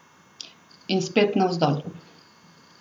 In spet navzdol.